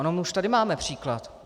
Ono už tady máme příklad.